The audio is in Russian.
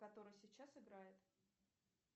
который сейчас играет